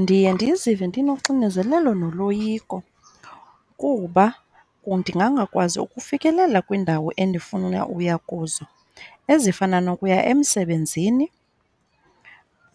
Ndiye ndizive ndinoxinezelelo noloyiko kuba ndingangakwazi ukufikelela kwiindawo endifuna uya kuzo ezifana nokuya emsebenzini,